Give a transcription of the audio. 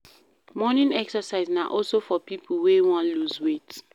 Morning exercise na also for pipo wey won loose weight